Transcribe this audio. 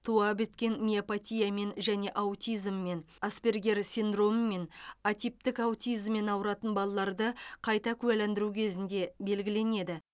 туа біткен миопатиямен және аутизммен аспергер синдромымен атиптік аутизммен ауыратын балаларды қайта куәландыру кезінде белгіленеді